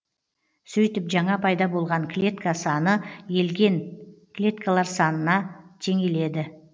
сөйтіп жаңа пайда болған клетка саңы елген клеткалар санына теңеледі